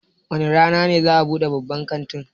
Wane rana za'a buɗe babban kantin?